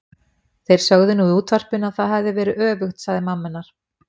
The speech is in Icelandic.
Þeir sögðu nú í útvarpinu að það hefði verið öfugt sagði mamma hennar.